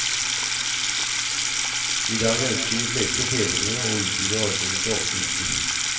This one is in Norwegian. I dag ønsker de fleste fedrene å utvide ordningen til åtte uker.